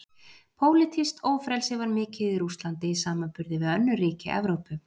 Pólitískt ófrelsi var mikið í Rússlandi í samanburði við önnur ríki Evrópu.